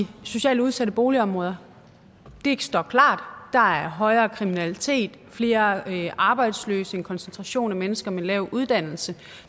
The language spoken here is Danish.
socialt udsatte boligområder det står klart der er højere kriminalitet flere arbejdsløse en koncentration af mennesker med lav uddannelse